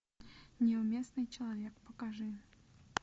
неуместный человек покажи